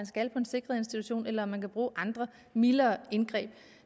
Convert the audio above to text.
skal på en sikret institution eller man skal bruge andre mildere indgreb